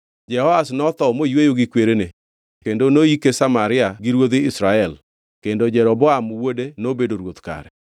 Jehoash notho moyweyo gi kwerene kendo noyike Samaria gi ruodhi Israel kendo Jeroboam wuode nobedo ruoth kare.